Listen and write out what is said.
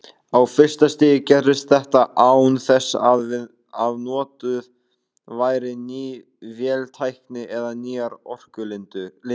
Á fyrsta stigi gerðist þetta án þess að notuð væri ný véltækni eða nýjar orkulindir.